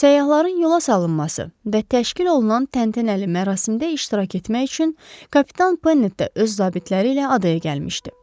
Səyyahların yola salınması və təşkil olunan təntənəli mərasimdə iştirak etmək üçün kapitan Pennet də öz zabitləri ilə adaya gəlmişdi.